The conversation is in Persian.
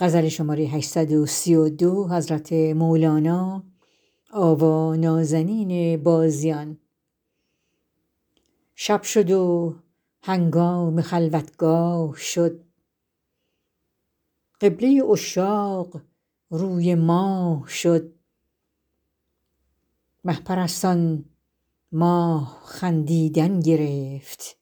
شب شد و هنگام خلوتگاه شد قبله عشاق روی ماه شد مه پرستان ماه خندیدن گرفت